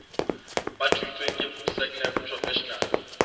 ba thontsweng ke sacnasp professional